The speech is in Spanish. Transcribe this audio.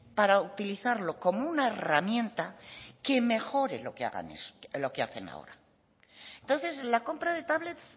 para utilizarlo como una herramienta que mejore lo que hacen ahora entonces la compra de tablets